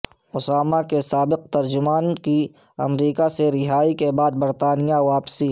اسامہ کے سابق ترجمان کی امریکہ سے رہائی کے بعد برطانیہ واپسی